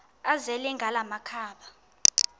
azele ngala makhaba